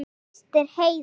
Þín systir Heiða.